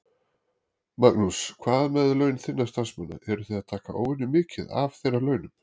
Magnús: Hvað með laun þinna starfsmanna, eruð þið að taka óvenjumikið af þeirra launum?